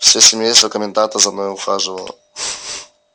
все семейство коменданта за мною ухаживало